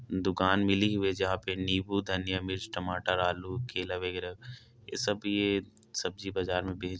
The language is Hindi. दुकान मिली हुई है जहाँ पर नीबू धनिया मिर्च टमाटरआलू केला बगेरा ये सब ये सब्जी बाज़ार मे बेचते--